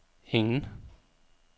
ingen